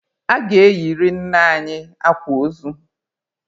A ga-eyiri nna anyi akwa ozu!